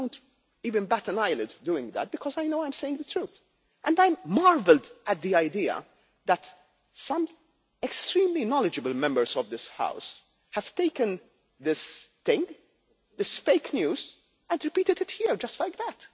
I do not even bat an eyelid doing that, because I know I am saying the truth. I marvel at the idea that some extremely knowledgeable Members of this House have taken this thing, this fake news, and repeated it here just like